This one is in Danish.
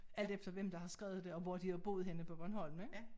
Alt efter hvem der har skrevet det og hvor de har boet henne på Bornholm ik